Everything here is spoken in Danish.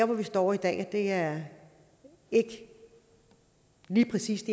vi står i dag er ikke lige præcis